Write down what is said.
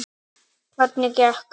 Hvernig gekk?